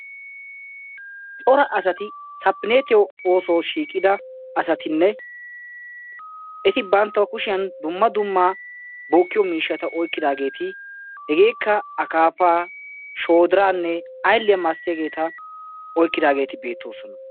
cora asati sapinetiya oosuwaa shiiqida asatinne eti banttaw kushshiyan dumma dumma bokkiyo miishshata oyqqidaageeti hegeekka akkappa, shoodiranne aylliya masatiyaageeta oykkidaageeti beettoosona.